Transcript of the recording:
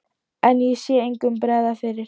En ég sá engum bregða fyrir.